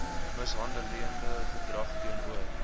mishandelende gedrag teenoor